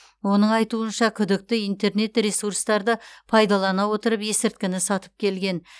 оның айтуынша күдікті интернет ресурстарды пайдалана отырып ескірткіні сатып келген